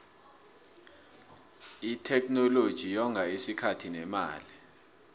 itheknoloji yonga isikhathi nemali